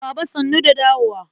Baba sannu da dawowa.